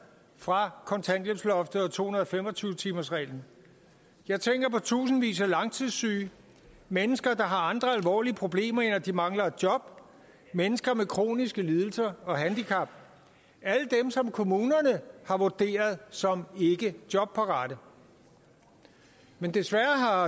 fra kontanthjælpsloftet og to hundrede og fem og tyve timersreglen jeg tænker på tusindvis af langtidssyge mennesker der har andre alvorlige problemer end at de mangler et job mennesker med kroniske lidelser og handicap alle dem som kommunerne har vurderet som ikke jobparate men desværre har